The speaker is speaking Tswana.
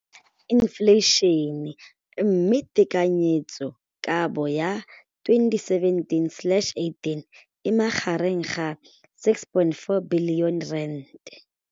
Infleišene, mme tekanyetsokabo ya 2017 le 2018 e magareng ga R6.4 bilione.